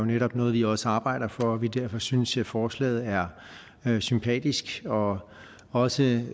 netop er noget vi også arbejder for så derfor synes vi forslaget er sympatisk og også